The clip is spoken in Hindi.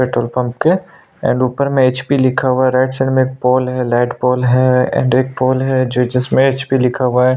पेट्रोल पंप के एंड ऊपर में एचपी लिखा हुआ है राईट साइड में एक पोल है लाइट पोल है एंड एक पोल है जिसमें एचपी लिखा हुआ है ।